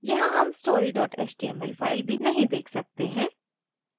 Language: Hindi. यहाँ हम story html file भी नहीं देख सकते हैं